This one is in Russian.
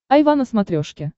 айва на смотрешке